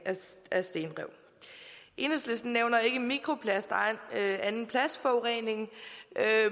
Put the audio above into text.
af stenrev enhedslisten nævner ikke mikroplast og anden plastforurening